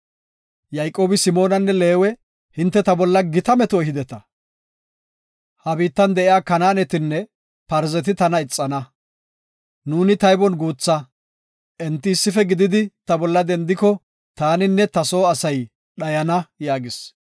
Yayqoobi Simoonanne Leewe, “Hinte ta bolla gita meto ehideta. Ha biittan de7iya Kanaanetinne Parzeti tana ixana. Nuuni taybon guutha, enti issife gididi ta bolla dendiko, taaninne ta soo asay dhayana” yaagis.